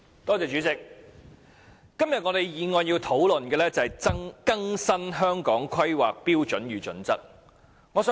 代理主席，今天我們討論的是有關更新《香港規劃標準與準則》的議案。